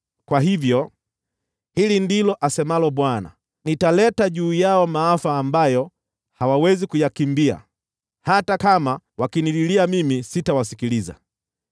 Kwa hivyo, hili ndilo asemalo Bwana : ‘Nitaleta juu yao maafa ambayo hawawezi kuyakimbia. Hata kama wakinililia, sitawasikiliza.